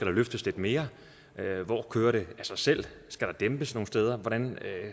løftes lidt mere hvor kører det af sig selv skal der dæmpes nogle steder hvordan